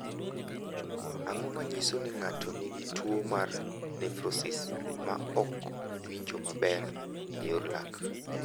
Ang’o ma nyiso ni ng’ato nigi tuwo mar Nefrosis ma ok winjo maber e yor lak?